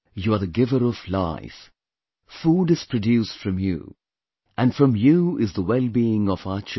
You are the giver of life, food is produced from you, and from you is the wellbeing of our children